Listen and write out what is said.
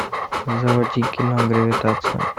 заводи кино гравитация